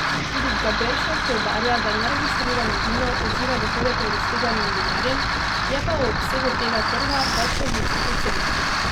Tudi Gaberšek poudarja, da neregistrirano vino odžira dohodek registriranim vinarjem, je pa o obsegu tega trga več različnih ocen.